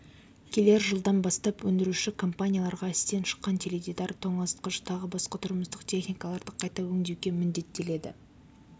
келер жылдан бастап өндіруші компанияларға істен шыққан теледидар тоңазытқыш тағы басқа тұрмыстық техникаларды қайта өңдеуге міндеттеледі